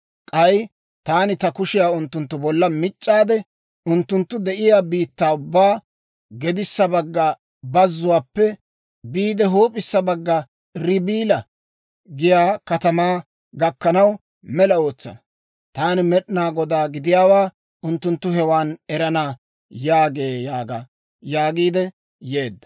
K'ay taani ta kushiyaa unttunttu bolla mic'aade, unttunttu de'iyaa biittaa ubbaa, gedissa bagga bazzuwaappe biide huup'issa bagga Ribila giyaa katamaa gakkanaw, mela ootsana. Taan Med'inaa Godaa gidiyaawaa unttunttu hewan erana yaagee yaaga» yaagiidde yeedda.